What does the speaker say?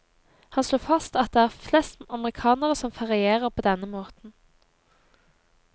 Han slo fast at det er flest amerikanere som ferierer på denne måten.